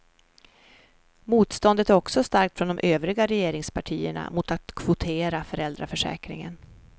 Motståndet är också starkt från de övriga regeringspartierna mot att kvotera föräldraförsäkringen.